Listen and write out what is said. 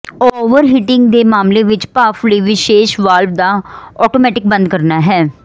overheating ਦੇ ਮਾਮਲੇ ਵਿੱਚ ਭਾਫ਼ ਲਈ ਵਿਸ਼ੇਸ਼ ਵਾਲਵ ਦਾ ਆਟੋਮੈਟਿਕ ਬੰਦ ਕਰਨਾ